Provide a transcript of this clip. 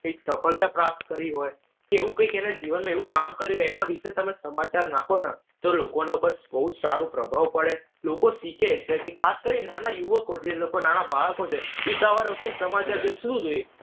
કંઈક સફળતા પ્રાપ્ત કરી હોઈ. કે એવું કંઈક એના જીવનમાં એવું કામ કર્યું હોઈ એના વિશે તમે સમાચાર નાંખો ને તો લોકોના ઉપર બઉ જ સારો પ્રભાવ પડે. લોકો શીખે કે ખાસ કરી નાના યુવકો કે જે લોકો નાના બાળકો છે ઈ સમાચાર તો શું જોએ?